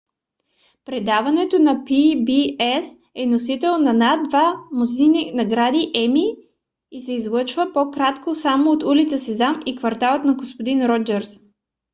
предаването на pbs е носител на над две дузини награди еми и се излъчва по-кратко само от улица сезам и кварталът на г-н роджърс